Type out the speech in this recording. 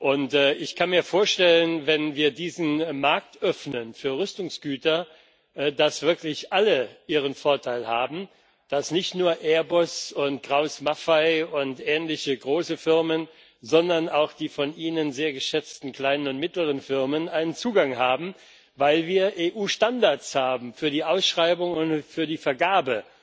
Und ich kann mir vorstellen, wenn wir diesen Markt für Rüstungsgüter öffnen, dass wirklich alle ihren Vorteil haben, dass nicht nur Airbus und Krauss Maffei und ähnliche große Firmen, sondern auch die von Ihnen sehr geschätzten kleinen und mittleren Firmen einen Zugang haben, weil wir EU Standards für die Ausschreibung und für die Vergabe